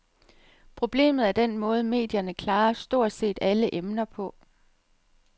Problemet er den måde, medierne klarer stort set alle emner på.